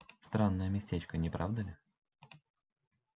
странное местечко не правда ли